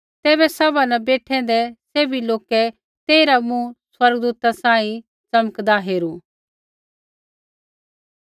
तैबै सभा न बेठैंदै सैभी लोकै तेइरा मुँह स्वर्गदूता सांही च़मकदा हेरू